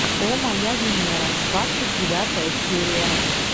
о моя венера двадцать девятая серия